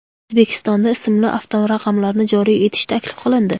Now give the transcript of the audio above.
O‘zbekistonda ismli avtoraqamlarni joriy etish taklif qilindi.